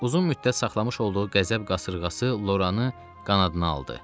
Uzun müddət saxlamış olduğu qəzəb qasırğası Loranı qanadına aldı.